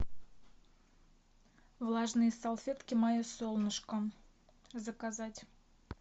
влажные салфетки мое солнышко заказать